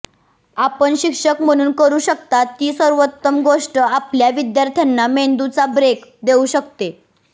आपण शिक्षक म्हणून करू शकता ती सर्वोत्तम गोष्ट आपल्या विद्यार्थ्यांना मेंदूचा ब्रेक देऊ शकते